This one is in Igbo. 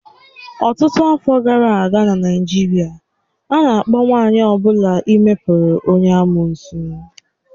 Ọtụtụ afọ gara aga n'Naịjirịa, a na-akpọ nwanyị ọ bụla ime pụrụ onye amụụsụ.